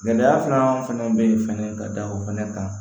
Gɛlɛya filanan fɛnɛ be yen fɛnɛ ka da o fɛnɛ kan